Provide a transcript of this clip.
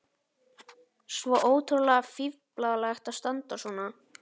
Svo ótrúlega fíflalegt að standa svona.